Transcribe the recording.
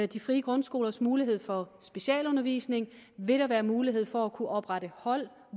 de frie grundskolers mulighed for specialundervisning vil der være mulighed for at kunne oprette hold